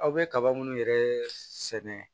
Aw bɛ kaba minnu yɛrɛ sɛnɛ